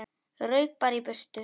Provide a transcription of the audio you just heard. Rauk bara í burtu.